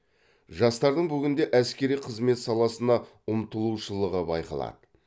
жастардың бүгінде әскери қызмет саласына ұмтылушылығы байқалады